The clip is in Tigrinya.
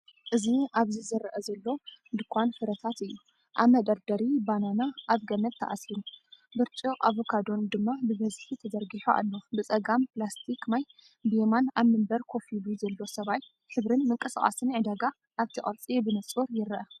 እዚ ኣብዚ ዝርአ ዘሎ ድኳን ፍረታት እዩ። ኣብ መደርደሪ፡ ባናና ኣብ ገመድ ተኣሲሩ፡ በርጭቅ ኣቮካዶን ድማ ብብዝሒ ተዘርጊሑ ኣሎ። ብጸጋም ፕላስቲክ ማይ፡ ብየማን፡ ኣብ መንበር ኮፍ ኢሉ ዘሎ ሰብኣይ። ሕብርን ምንቅስቓስን ዕዳጋ ኣብቲ ቅርጺ ብንጹር ይርአ።